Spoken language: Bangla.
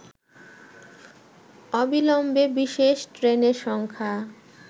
অবিলম্বে বিশেষ ট্রেনের সংখ্যা